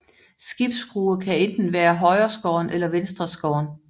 Skibsskrue kan enten være højreskåren eller venstreskåren